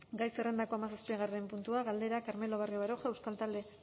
gai zerrendako hamazazpigarren puntua galdera carmelo barrio baroja euskal talde